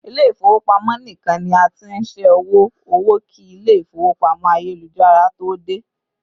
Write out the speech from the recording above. ilé ifowopamọ nikan ni a t'in ṣẹ owo owó ki ilé ifowópamọ́ ayélujára to dé